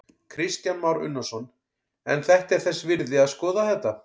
Kristján Már Unnarsson: En þetta er þess virði að skoða þetta?